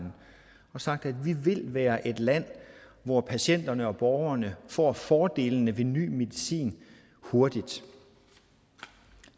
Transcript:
og sagt at vi vil være et land hvor patienterne og borgerne får fordelene ved ny medicin hurtigt